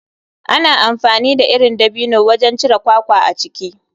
Ana amfani da irin dabino wajen cire kwakwa a ciki.